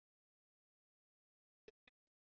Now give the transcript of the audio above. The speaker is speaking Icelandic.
Gera hana að sinni.